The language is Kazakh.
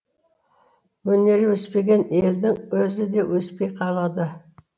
өнері өспеген елдің өзі де өспей қалады